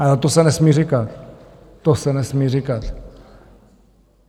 Ale to se nesmí říkat, to se nesmí říkat.